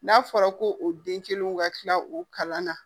N'a fɔra ko o den kelen ka tila o kalan na